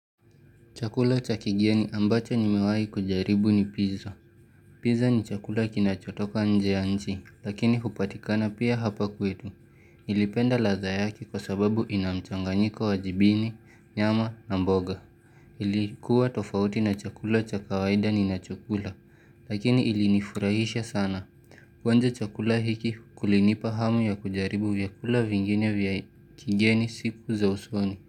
Chakula cha kigeni ambacho nimewai kujaribu ni pizza. Pizza ni chakula kinachotoka nje ya nji, lakini upatikana pia hapa kwetu. Nilipenda ladha yake kwa sababu ina mchanganyiko wa jibini, nyama na mboga. Ilikuwa tofauti na chakula cha kawaida ninachokula lakini ilinifurahisha sana. Kuonja chakula hiki kulinipa hamu ya kujaribu vyakula vingine vya kigeni siku za usoni.